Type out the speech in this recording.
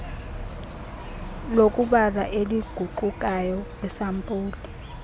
lokubala eliguqukayo kwiisampuli